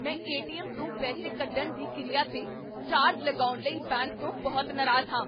ਮੈਂ ਏ.ਟੀ.ਐੱਮ. ਤੋਂ ਪੈਸੇ ਕੱਢਣ ਦੀ ਕਿਰਿਆ 'ਤੇ ਚਾਰਜ ਲਗਾਉਣ ਲਈ ਬੈਂਕ ਤੋਂ ਬਹੁਤ ਨਾਰਾਜ਼ ਹਾਂ।